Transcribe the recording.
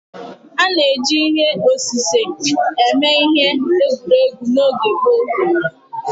A na-eji ihe osise eme ihe egwuregwu n'oge gboo